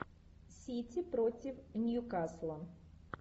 сити против нью касла